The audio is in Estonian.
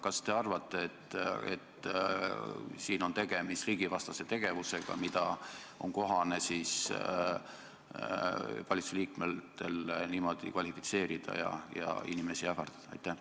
Kas te arvate, et tegemist on riigivastase tegevusega, mida valitsuse liikmetel on kohane niimoodi kvalifitseerida ja mille eest võib inimesi ähvardada?